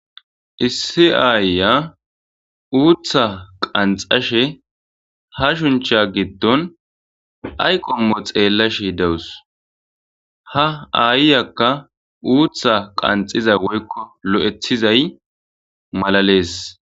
Issi aayya uutha qanxxashe ha shuncha giddon ay qommo xeellashe dawus. Ha aayyakka uutha qanxiza woykko lo7ethizay malalees.